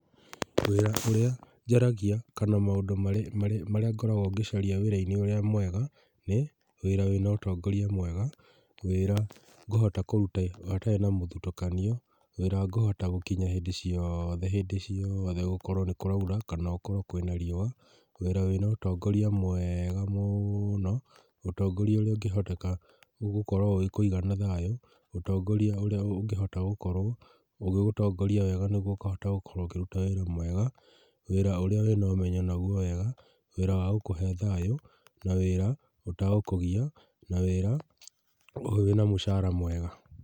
Wĩra ũrĩa njaragia kana maũndũ marĩa ngoragwo ngĩcaria wĩra-inĩ ũrĩa mwega, nĩ wĩra wĩna ũtongorĩa mwega, wĩra ngũhota kũruta hatarĩ na mũthutũkanio, wĩra ngũhota gũkinya hĩndĩ ciothe hĩndĩ cĩothe gũkorwo nĩ kũraura kana gũkorwo kwĩna rĩũa, wĩra wĩna ũtongoria mwega mũno, ũtongorĩa ũrĩa ũngĩhoteka gũkorwo ũgĩkũiga na thayũ, utongoria ũrĩa ũngĩhota gũkorwo ũgĩgũtongoria wega nĩguo ũkahota gũkorwo kũruta wĩra mwega, wĩra ũrĩa wĩ na ũmenyo naguo wega, wĩra wa gũkuhe thayũ, na wĩra ũtegũkũgia, na wĩra wĩna mũcara mwega.